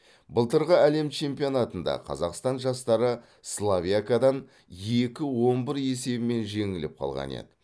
былтырғы әлем чемпионатында қазақстан жастары словиякадан екі он бір есебімен жеңіліп қалған еді